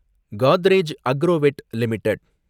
Godrej Agrovet limited